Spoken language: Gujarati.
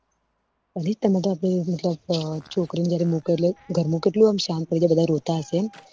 અલી તમારે તો છોકરી ને જયારે મુકો એટલે ઘર માં કેટલું આમ સાંત થઇ જય બધા રોતા હશે